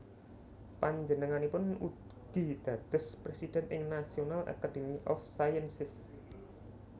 Panjenenganipun ugi dados presiden ing National Academy of Sciences